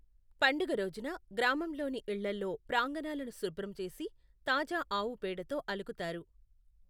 పండుగ రోజున, గ్రామంలోని ఇళ్ళల్లో ప్రాంగణాలను శుభ్రం చేసి తాజా ఆవు పేడతో అలుకుతారు.